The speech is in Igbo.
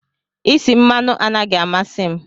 Isi mmanụ anaghị amasị m.